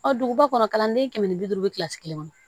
Ɔ duguba kɔnɔ kalanden kɛmɛ bi duuru bɛ kilasi kelen kɔnɔ